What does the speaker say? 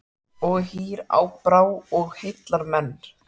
Og hýr á brá og heillar menn.